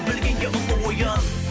білгенге ұлы ойын